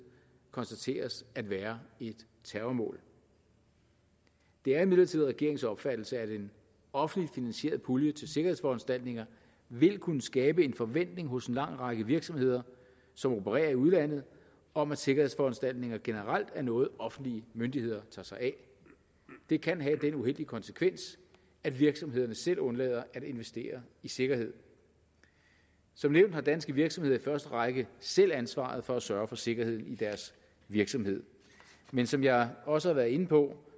konstateres at være et terrormål det er imidlertid regeringens opfattelse at en offentlig finansieret pulje til sikkerhedsforanstaltninger vil kunne skabe en forventning hos en lang række virksomheder som opererer i udlandet om at sikkerhedsforanstaltninger generelt er noget offentlige myndigheder tager sig af det kan have den uheldige konsekvens at virksomhederne selv undlader at investere i sikkerhed som nævnt har danske virksomheder i første række selv ansvaret for at sørge for sikkerheden i deres virksomhed men som jeg også har været inde på